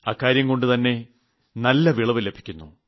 അക്കാര്യംകൊണ്ടുതന്നെ നല്ല വിളവ് ലഭിക്കുന്നു